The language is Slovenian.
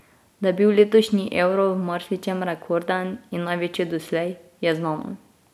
Da je bil letošnji euro v marsičem rekorden in največji doslej, je znano.